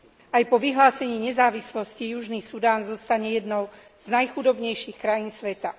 Aj po vyhlásení nezávislosti Južný Sudán zostane jednou z najchudobnejších krajín sveta.